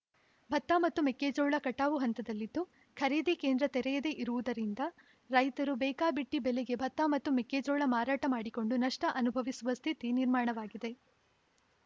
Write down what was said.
ಭತ್ತ ಮತ್ತು ಮೆಕ್ಕೆಜೋಳ ಕಟಾವು ಹಂತದಲ್ಲಿದ್ದು ಖರೀದಿ ಕೇಂದ್ರ ತೆರೆಯದೆ ಇರುವುದರಿಂದ ರೈತರು ಬೇಕಾಬಿಟ್ಟಿಬೆಲೆಗೆ ಭತ್ತ ಮತ್ತು ಮೆಕ್ಕೆಜೋಳ ಮಾರಾಟ ಮಾಡಿಕೊಂಡು ನಷ್ಟಅನುಭವಿಸುವ ಸ್ಥಿತಿ ನಿರ್ಮಾಣವಾಗಿದೆ